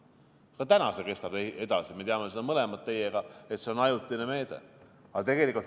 Ka täna see kestab edasi, me teame teiega mõlemad, et see on ajutine meede.